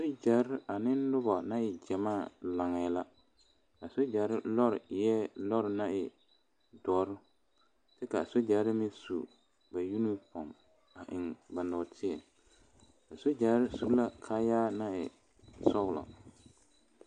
Sogyere ane noba naŋ e gyamaa laŋe la a sogyere lɔ eɛ lɔre naŋ e doɔre kyɛ kaa sogyere meŋ su ba unifoom a eŋ ba nɔɔteɛ a sogyere su la kaayaa naŋ e sɔglɔ.